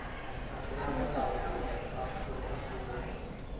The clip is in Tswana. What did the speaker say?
motlolamolao go ya kwa kgolegelong